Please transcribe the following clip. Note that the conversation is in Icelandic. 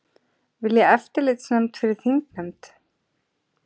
Vilja eftirlitsnefnd fyrir þingnefnd